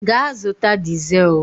Gaa zụta dizel!